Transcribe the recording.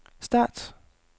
start